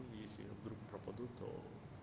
если я вдруг пропаду то